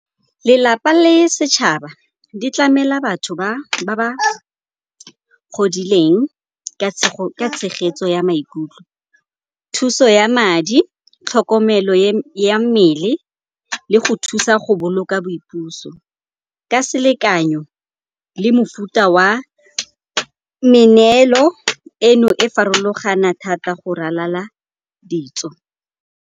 Lelapa le setšhaba di tlamela batho ba ba godileng ka tshegetso ya maikutlo, thuso ya madi, tlhokomelo ya mmele e le go thusa go boloka boipuso. Ka selekanyo le mofuta wa meneelo eno e farologana thata go ralala ditso.